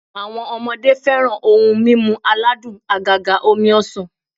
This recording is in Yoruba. Awo̩n o̩mo̩de fe̩ran oun mimu aladun àgàgà omi ọsàn